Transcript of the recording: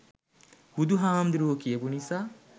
බුදු හාමුදුරුවො කියපු නිසා